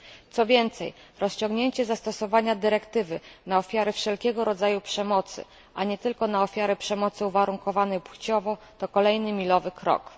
Co więcej, rozciągnięcie zastosowania dyrektywy na ofiary wszelkiego rodzaju przemocy, a nie tylko na ofiary przemocy uwarunkowanej płciowo, to kolejny milowy krok.